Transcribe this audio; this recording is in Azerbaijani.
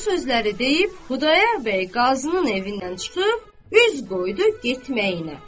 Bu sözləri deyib Xudayar bəy qazının evindən çıxıb, üz qoydu getməyinə.